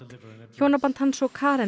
hjónaband hans og Karen